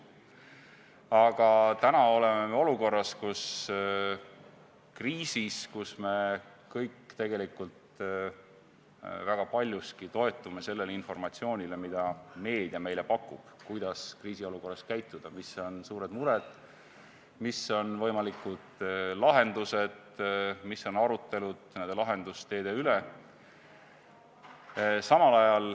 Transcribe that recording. Aga täna oleme me olukorras, kus me kriisis kõik väga paljuski toetume sellele informatsioonile, mida meedia meile pakub selle kohta, kuidas kriisiolukorras käituda, mis on suured mured, mis on võimalikud lahendused, mis on arutelud nende lahendusteede üle.